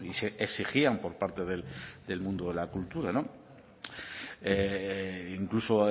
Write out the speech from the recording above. se exigían por parte del mundo de la cultura incluso